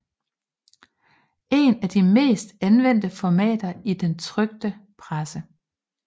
Et af de mest anvendte formater i den trykte presse